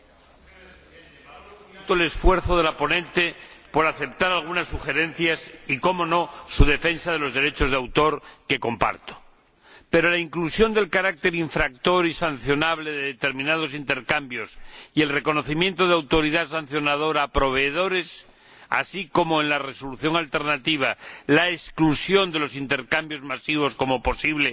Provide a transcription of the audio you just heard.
Señor Presidente, agradezco el esfuerzo de la ponente por aceptar algunas sugerencias y, cómo no, su defensa de los derechos de autor, que comparto, pero la inclusión del carácter infractor y sancionable de determinados intercambios y el reconocimiento de autoridad sancionadora a proveedores, así como en la resolución alternativa la exclusión de los intercambios masivos como posible